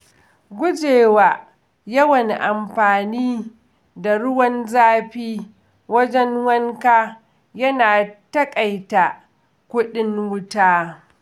Guje wa yawan amfani da ruwan zafi wajen wanka yana taƙaita kuɗin wuta.